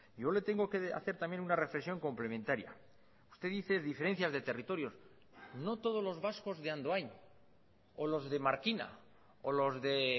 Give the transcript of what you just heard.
yo le tengo que hacer también una reflexión complementaria usted dice diferencias de territorios no todos los vascos de andoain o los de markina o los de